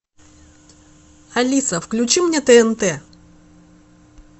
алиса включи мне тнт